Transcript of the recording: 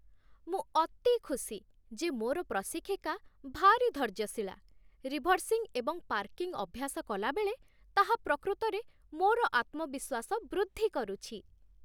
ମୁଁ ଅତି ଖୁସି ଯେ ମୋର ପ୍ରଶିକ୍ଷିକା ଭାରି ଧୈର୍ଯ୍ୟଶୀଳା, ରିଭର୍ସିଙ୍ଗ ଏବଂ ପାର୍କିଂ ଅଭ୍ୟାସ କଲାବେଳେ ତାହା ପ୍ରକୃତରେ ମୋର ଆତ୍ମବିଶ୍ୱାସ ବୃଦ୍ଧି କରୁଛି।